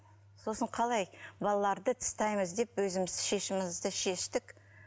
сосын қалай балаларды тастаймыз деп өзіміз шешімізді шештік